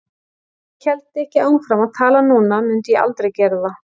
Ef ég héldi ekki áfram að tala núna mundi ég aldrei gera það.